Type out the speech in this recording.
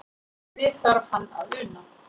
Við þarf hann að una.